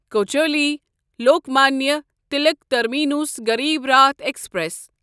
Kochuveli Lokmanya Tilak terminus Garib Rath express